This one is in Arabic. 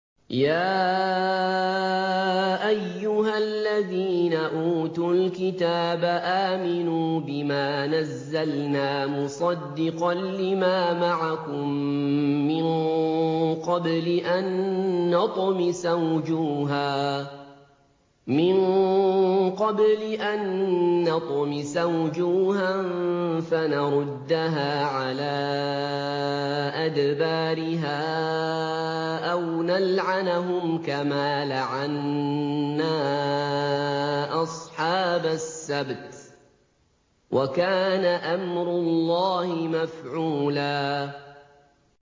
يَا أَيُّهَا الَّذِينَ أُوتُوا الْكِتَابَ آمِنُوا بِمَا نَزَّلْنَا مُصَدِّقًا لِّمَا مَعَكُم مِّن قَبْلِ أَن نَّطْمِسَ وُجُوهًا فَنَرُدَّهَا عَلَىٰ أَدْبَارِهَا أَوْ نَلْعَنَهُمْ كَمَا لَعَنَّا أَصْحَابَ السَّبْتِ ۚ وَكَانَ أَمْرُ اللَّهِ مَفْعُولًا